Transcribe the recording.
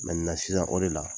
sisan o de la